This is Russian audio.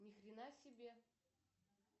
нихрена себе